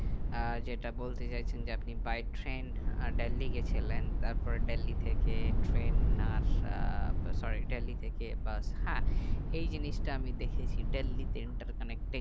আহ যেটা বলতে চাইছেন যে by ট্রেন আহ দিল্লি গেছিলেন তারপরে দিল্লি থেকে ট্রেন আর আহ তো sorry দিল্লি থেকে বাস হ্যাঁ এই জিনিস তা আমি দেখেছি দিল্লি ট্রেন তার খানিক